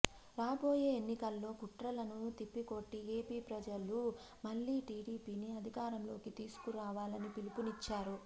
రాబోయే ఎన్నికల్లో కుట్రలను తిప్పికొట్టి ఏపీ ప్రజలు మళ్లీ టీడీపీని అధికారంలోకి తీసుకురావాలని పిలుపునిచ్చారు